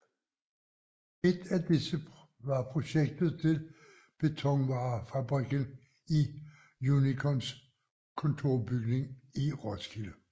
Et af disse var projektet til betonvarefabrikken Unicons kontorbygning i Roskilde